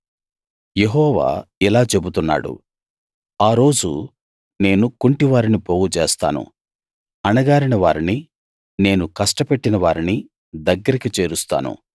యెహోవా ఇలా చెబుతున్నాడు ఆ రోజు నేను కుంటి వారిని పోగుచేస్తాను అణగారిన వారిని నేను కష్టపెట్టినవారిని దగ్గరికి చేరుస్తాను